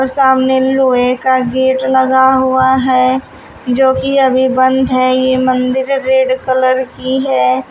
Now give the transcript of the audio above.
सामने लोहे का गेट लगा हुआ है जो की अभी बंद है ये मंदिर रेड कलर की है।